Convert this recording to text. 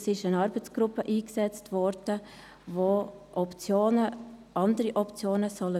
Es wurde eine Arbeitsgruppe eingesetzt, die andere Optionen prüfen soll.